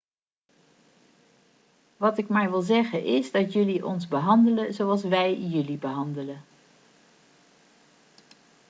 wat ik maar wil zeggen is dat jullie ons behandelen zoals wij jullie behandelen